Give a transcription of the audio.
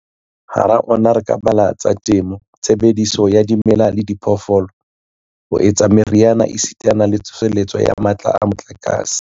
Hara ona re ka bala a tsa temo, tshebediso ya dimela le diphoofolo ho etsa meriana esitana le tsoseletso ya matla a motlakase.